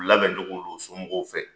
U labɛ don u somɔgɔw fɛ.